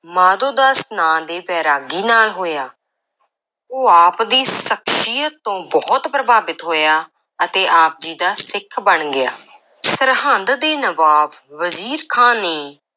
ਮਾਧੋਦਾਸ ਨਾਂ ਦੇ ਵੈਰਾਗੀ ਨਾਲ ਹੋਇਆ ਉਹ ਆਪ ਦੀ ਸ਼ਖ਼ਸੀਅਤ ਤੋਂ ਬਹੁਤ ਪ੍ਰਭਾਵਿਤ ਹੋਇਆ ਅਤੇ ਆਪ ਜੀ ਦਾ ਸਿੱਖ ਬਣ ਗਿਆ ਸਰਹਿੰਦ ਦੇ ਨਵਾਬ ਵਜ਼ੀਰ ਖਾਂ ਨੇ